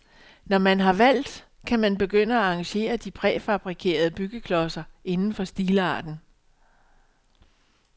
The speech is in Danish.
Når man har valgt, kan man begynde at arrangere de præfabrikerede byggeklodser inden for stilarten.